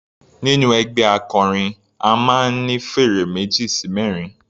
Nínú ẹgbẹ́ akọrin a máa ń ní fèrè meji sí mẹrin.